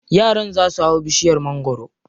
Yaran za su hau bishiyar magwaro.